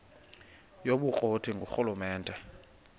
yobukro ti ngurhulumente